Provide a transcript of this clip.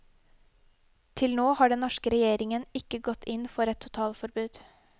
Til nå har den norske regjeringen ikke gått inn for et totalforbud.